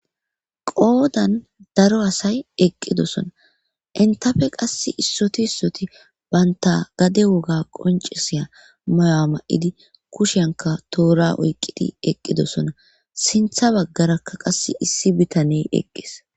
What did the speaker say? qoodan daro asay eqqidosona intafe qass issoti issoti baynta gade woga qoncisiya mayo7a ma7idi kushenka toora oyqqidi eqqidosona sintha baggarakka qass issi bitaney eqqees